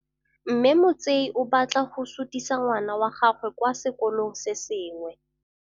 Mme Motsei o batla go sutisa ngwana wa gagwe kwa sekolong se sengwe.